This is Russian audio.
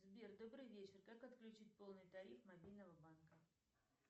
сбер добрый вечер как отключить полный тариф мобильного банка